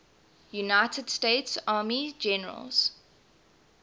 united states army generals